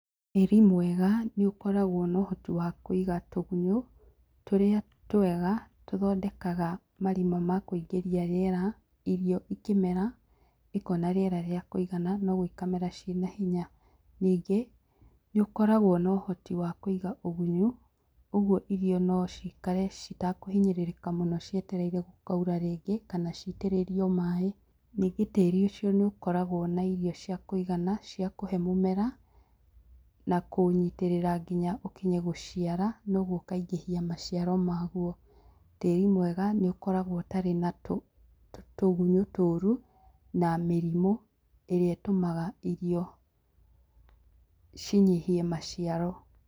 Tĩri mwega nĩ ũkoragwo na ũhoti wa kũiga tũgunyũ, tũrĩa twega tũthondekaga marima ma kuingĩria riera, irio ikĩmera, ikona rĩera rĩa kũigana, na ũguo ikamera ciĩna hinya. Ningĩ nĩ ũkoragwo na ũhoti wa kũiga ũgunyu, ũguo irio nocikare citakũhinyĩrĩka mũno cietereire gũkaura rĩngĩ, kana citĩrĩrio maaĩ. Ningĩ tĩri ũcio nĩ ũkoragwo na irio cia kũigana cia kũhe mũmera, na kũũnyitĩrĩra nginya ũkinye gũciara, na ũgũo ũkaingĩhia maciaro maguo. Tĩri mwega nĩ ũkoragwo ũtarĩ na tũgunyũ tũru, na mĩrimũ, ĩrĩa ĩtũmaga irio cinyihie maciaro.